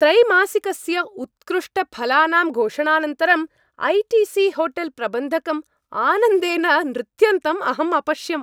त्रैमासिकस्य उत्कृष्टफलानां घोषणानन्तरं I T C hotel प्रबन्धकं आनन्देन नृत्यन्तम् अहं अपश्यम्।